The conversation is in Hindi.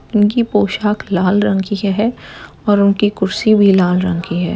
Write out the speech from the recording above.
इनकी पोशाख लाल रंग की हैं और उनकी कुर्सी भी लाल रंग की हैं।